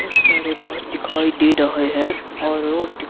बहुत सारे घर दिखाई दे रहे हैं और और--